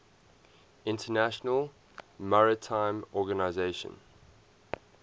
international maritime organization